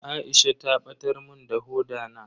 Aisha ta batar mun da hoda na.